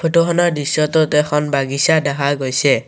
Photo খনত দৃশ্যটোত এখন বাগিছা দেখা গৈছে।